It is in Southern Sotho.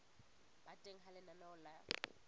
ba teng ha lenaneo la